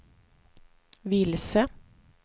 vilse